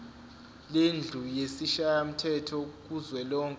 lendlu yesishayamthetho kuzwelonke